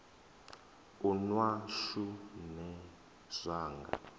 u nwa shu nṋe zwanga